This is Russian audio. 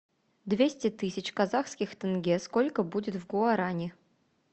двести тысяч казахских тенге сколько будет в гуарани